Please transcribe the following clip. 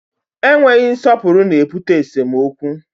Enweghị nsọpụrụ na-ebute esemokwu